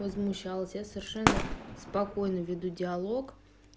возмущался я совершенно спокойно веду диалог